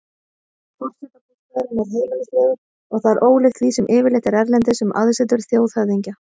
Forsetabústaðurinn er heimilislegur og það er ólíkt því sem yfirleitt er erlendis um aðsetur þjóðhöfðingja.